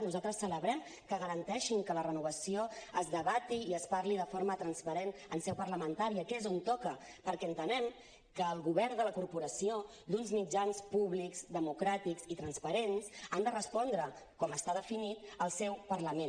nosaltres celebrem que garanteixin que la renovació es debati i es parli de forma transparent en seu parlamentària que és on toca perquè entenem que el govern de la corporació d’uns mitjans públics democràtics i transparents ha de respondre com està definit al seu parlament